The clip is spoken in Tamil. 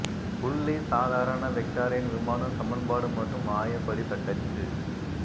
புள்ளி சாதாரண வெக்டாரின் விமானம் சமன்பாடு மற்றும் ஆய படி தட்டச்சு